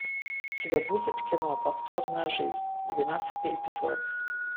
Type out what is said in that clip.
у тебя будет кино повторная жизнь двенадцатый эпизод